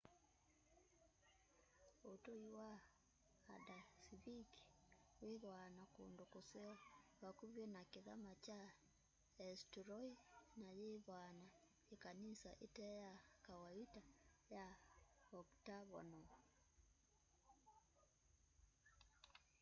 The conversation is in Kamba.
utui wa haldarsvik withwaa na kundu kuseo vakuvi na kithama kya eysturoy na yithwaa na ikanisa ite ya kawaita ya octagonal